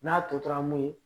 N'a tora mun ye